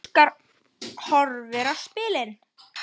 Óskar horfði á spilin.